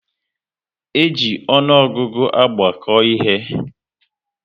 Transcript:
E ji ọnụọgụgụ agbako ihe